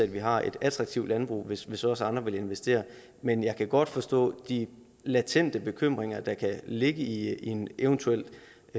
vi har et attraktivt landbrug hvis hvis også andre vil investere men jeg kan godt forstå de latente bekymringer der kan ligge i en eventuelt